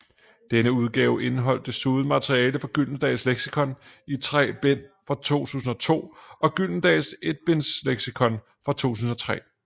Denne udgave indeholdt desuden materiale fra Gyldendals Leksikon i tre bind fra 2002 og Gyldendals Etbindsleksikon fra 2003